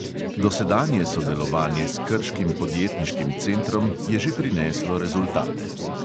Dosedanje sodelovanje s krškim podjetniškim centrom je že prineslo rezultate.